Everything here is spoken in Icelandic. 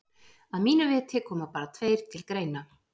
Að mínu viti koma bara tveir til greina.